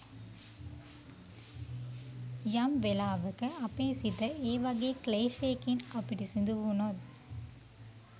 යම් වෙලාවක අපේ සිත ඒ වගේ ක්ලේශයකින් අපිරිසිදු වුණොත්